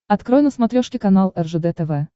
открой на смотрешке канал ржд тв